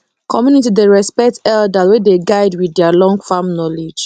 community dey respect elders wey dey guide with their long farm knowledge